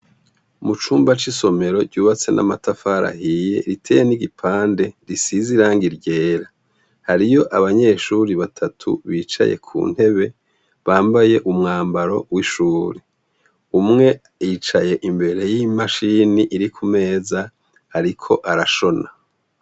Mu cumba c’isomero ryubatse n’amatafari ahiye, riteye n’igipande gisize irangi ryera, hariyo abanyeshure batatu bicaye ku ntebe bambaye umwambaro w’ishure. Umwe yicaye imbere y’imashini iri ku meza ariko arashona.